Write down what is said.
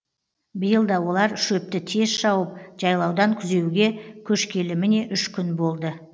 биыл да олар шөпті тез шауып жайлаудан күзеуге көшкелі міне үш күн болды